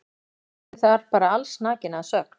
Syntu þar bara allsnakin að sögn.